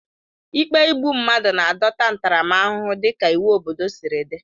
Ikpe igbu mmadụ na-adọta ntaramahụhụ dịka iwu obodo siri dị.